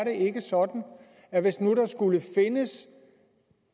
ikke sådan at hvis nu der skulle findes